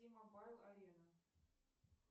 мобайл арена